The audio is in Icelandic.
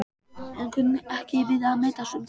en kunni ekki við að metast um það.